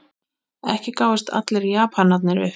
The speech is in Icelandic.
Ekki gáfust allir Japanir upp.